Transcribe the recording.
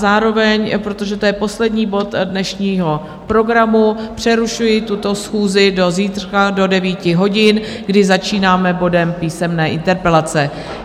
Zároveň, protože to je poslední bod dnešního programu, přerušuji tuto schůzi do zítřka do 9 hodin, kdy začínáme bodem Písemné interpelace.